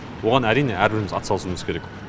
оған әрине әрбіріміз атсалысуымыз керек